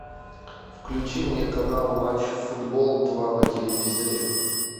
включи мне канал матч футбол два на телевизоре